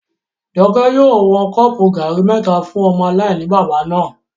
Jọkẹ́ yóò wọn kọ́ọ̀pù gàrí mẹ́ta fún ọmọ aláìní-baba náà